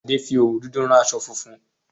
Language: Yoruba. Adé fi òwú dúdú rán aṣọ funfun